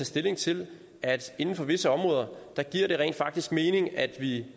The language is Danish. stilling til at inden for visse områder giver det rent faktisk mening at vi